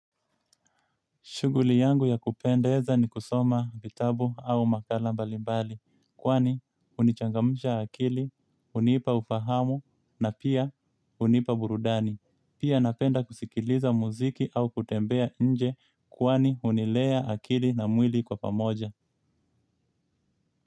Shughuli yangu ya kupendeza ni kusoma vitabu au makala mbali mbali kwani, hunichangamsha akili, hunipa ufahamu na pia hunipa burudani. Pia napenda kusikiliza muziki au kutembea nje kwani hunilea akili na mwili kwa pamoja.